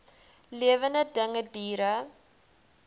lewende dinge diere